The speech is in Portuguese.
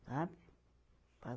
Sabe?